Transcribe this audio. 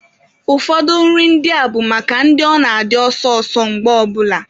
Ụfọdụ nri ndị a bụ maka ndị ọ na-adị ọsọ ọsọ mgbe ọ bụla.